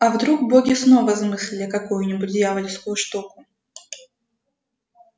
а вдруг боги снова замыслили какую нибудь дьявольскую штуку